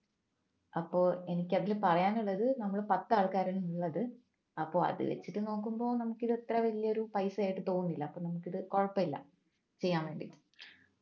അപ്പോ എനിക്ക് അതില് പറയാനുള്ളത് നമ്മള് പത്തു ആൾക്കാര് ഉള്ളത് അപ്പോ അത് വെച്ചിട്ട് നോക്കുമ്പോൾ നമുക്ക് അത്ര വലിയൊരു പൈസ ആയിട്ട് തോന്നുന്നില്ല നമുക്കിത് കൊഴപ്പമില്ല ചെയ്യാൻ വേണ്ടി